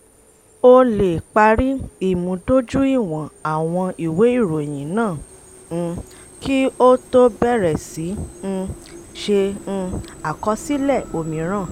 ó lè parí ìmúdójúìwọ̀n àwọn ìwé ìròyìn náà um kí ó tó bẹ̀rẹ̀ sí um ṣe um àkọsílẹ̀ òmíràn.